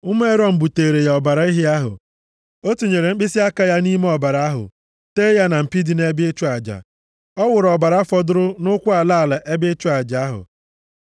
Ụmụ Erọn buteere ya ọbara ehi ahụ. O tinyere mkpịsịaka ya nʼime ọbara ahụ tee ya na mpi dị nʼebe ịchụ aja. Ọ wụrụ ọbara fọdụrụ nʼụkwụ ala ala ebe ịchụ aja ahụ.